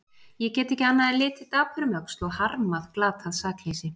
Ég get ekki annað en litið dapur um öxl og harmað glatað sakleysi.